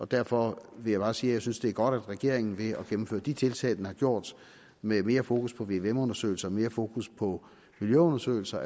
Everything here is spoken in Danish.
derfor vil jeg bare sige at jeg synes det er godt at regeringen ved at gennemføre de tiltag den har gjort med mere fokus på vvm undersøgelser og mere fokus på miljøundersøgelser